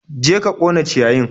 Je ka ƙona ciyayin!